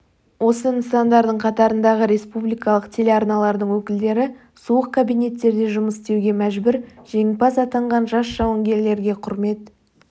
осы нысандардың қатарындағы республикалық телеарналардың өкілдері суық кабинеттерде жұмыс істеуге мәжбүр жеңімпаз атанған жас жауынгерлерге құрмет